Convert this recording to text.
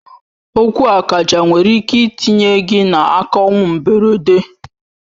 Okwu akaja nwere ike itinye gị n'aka ọnwụ mgberede.